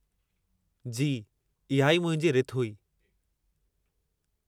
जी, इहा ई मुंहिंजी रिथ हुई।